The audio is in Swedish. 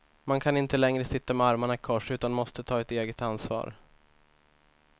Man kan inte längre sitta med armarna i kors utan måste ta ett eget ansvar.